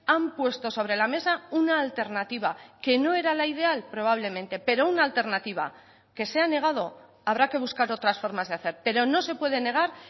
han puesto sobre la mesa una alternativa que no era la ideal probablemente pero una alternativa que se ha negado habrá que buscar otras formas de hacer pero no se puede negar